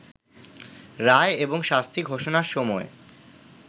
রায় এবং শাস্তি ঘোষণার সময়